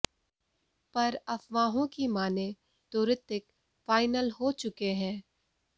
पर अफवाहों की मानें तो ऋतिक फाइनल हो चुके हैं